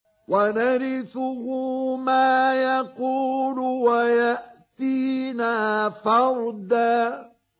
وَنَرِثُهُ مَا يَقُولُ وَيَأْتِينَا فَرْدًا